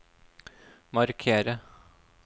markere